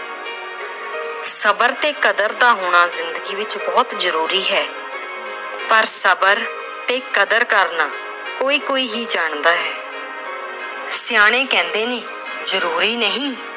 ਸਬਰ ਤੇ ਕਦਰ ਦਾ ਹੋਣਾ ਜ਼ਿੰਦਗੀ ਵਿੱਚ ਬਹੁਤ ਜ਼ਰੂਰੀ ਹੈ ਪਰ ਸਬਰ ਤੇ ਕਦਰ ਕਰਨਾ ਕੋਈ-ਕੋਈ ਹੀ ਜਾਣਦਾ ਹੈ। ਸਿਆਣੇ ਕਹਿੰਦੇ ਨੇ ਜ਼ਰੂਰੀ ਨਹੀਂ